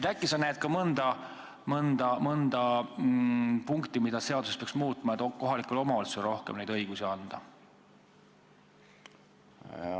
Äkki sa näed ka mõnda punkti, mida seaduses peaks muutma, et kohalikele omavalitsustele rohkem õigusi anda?